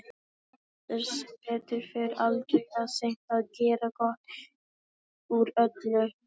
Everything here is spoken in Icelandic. En það er sem betur fer aldrei of seint að gera gott úr öllu.